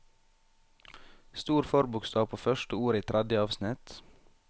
Stor forbokstav på første ord i tredje avsnitt